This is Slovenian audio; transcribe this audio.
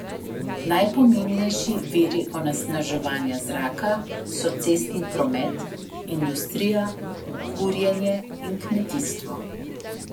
Najpomembnejši viri onesnaževanja zraka so cestni promet, industrija, kurjenje in kmetijstvo.